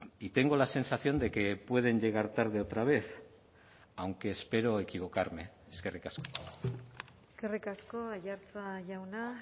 y tengo la sensación de que pueden llegar tarde otra vez aunque espero equivocarme eskerrik asko eskerrik asko aiartza jauna